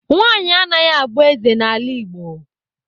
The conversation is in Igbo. Nwanyị anaghị abụ eze n'ala Igbo.